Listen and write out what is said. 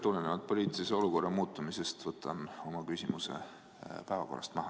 Tulenevalt poliitilise olukorra muutumisest võtan oma küsimuse päevakorrast maha.